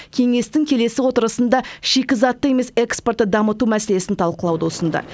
кеңестің келесі отырысында шикізатты емес экспортты дамыту мәселесін талқылауды ұсынды